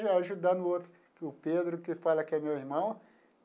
Ajudando o outro, que é o Pedro, que fala que é meu irmão.